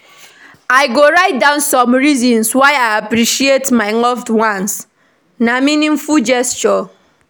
I go write down reasons why I appreciate my loved ones; na meaningful gesture.